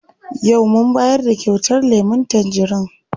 Yau mun bayar da kyautar lemun tangerin.